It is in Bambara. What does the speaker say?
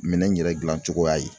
Minɛn in yɛrɛ gilan cogoya ye.